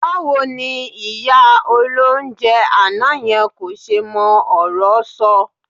Báwo ni ìyá olóunjẹ àná yẹn kò ṣe mọ ọ̀rọ́ sọ?